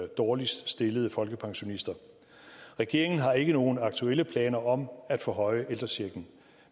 dårligst stillede folkepensionister regeringen har ikke nogen aktuelle planer om at forhøje ældrechecken